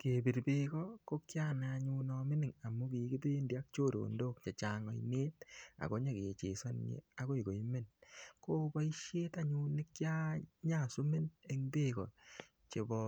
Kepir beeko, ko kianai anyun amining amu kikibendi ak choronok chechang ainet, ako nyikechesane akoi koimen. Ko boisiet anyun nekianyaswimen eng beeko chebo